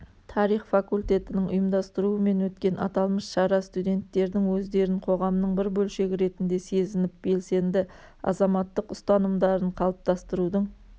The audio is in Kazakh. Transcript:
тарих факультетінің ұйымдастыруымен өткен аталмыш шара студенттердің өздерін қоғамның бір бөлшегі ретінде сезініп белсенді азаматтық ұстанымдарын қалыптастырудың